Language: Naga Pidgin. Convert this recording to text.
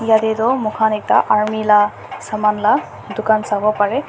yatey toh muikhan ekta army la saman la dukan sawo pareh.